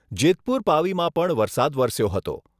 જેતપુર પાવીમાં પણ વરસાદ વરસ્યો હતો.